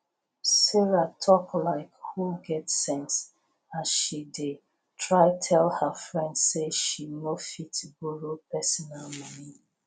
sarah talk like who get sense as she dey try tell her friend say she no fit borrow personal money